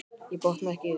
Ég botna ekki í því.